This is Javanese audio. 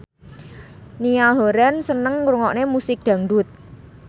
Niall Horran seneng ngrungokne musik dangdut